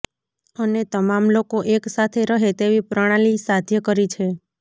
અને તમામ લોકો એક સાથે રહે તેવી પ્રણાલી સાધ્ય કરી છે